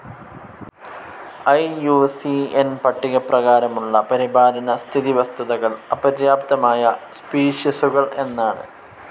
I U C N പട്ടികപ്രകാരമുള്ള പരിപാലന സ്ഥിതി വസ്തുതകൾ അപര്യാപ്തമായ സ്പീഷിസുകൾ എന്നാണ്.